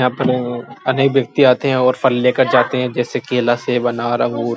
यहाँ पर अनेक व्यक्ति आते है और फल लेकर जाते है जैसे केला सेब अनार अंगूर --